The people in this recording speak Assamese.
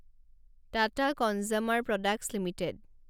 Tata consumer products limited